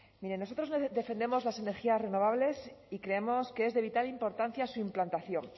miren nosotros defendemos las energías renovables y creemos que es de vital importancia su implantación